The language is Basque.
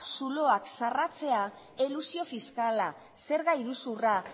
zuloak zarratzea elusio fiskala zerga iruzurra